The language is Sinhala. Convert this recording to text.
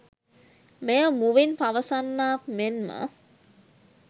මෙය මුවින් පවසන්නාක් මෙන්ම